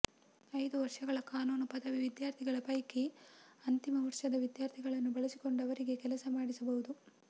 ಐದು ವರ್ಷಗಳ ಕಾನೂನು ಪದವಿ ವಿದ್ಯಾರ್ಥಿಗಳ ಪೈಕಿ ಅಂತಿಮ ವರ್ಷದ ವಿದ್ಯಾರ್ಥಿಗಳನ್ನು ಬಳಸಿಕೊಂಡು ಅವರಿಂದ ಕೆಲಸ ಮಾಡಿಸಬಹುದು